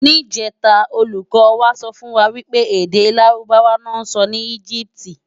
Nijètá ólúkò wá sòfúnwá wipé èdè Lárúbáwá lò nsò ni Egypiti